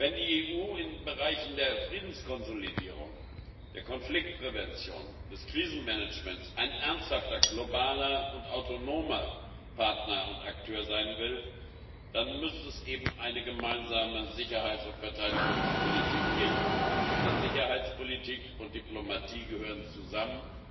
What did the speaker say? Wenn die EU in den Bereichen der Friedenskonsolidierung, der Konfliktprävention, des Krisenmanagements ein ernsthafter globaler und autonomer Partner und Akteur sein will, dann müsste es eben eine gemeinsame Sicherheits und Verteidigungspolitik geben, denn Sicherheitspolitik und Diplomatie gehören zusammen.